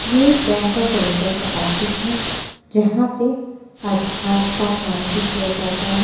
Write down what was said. ये bank of Baroda का office है जहा पे आधार का काम भी किया जाता है।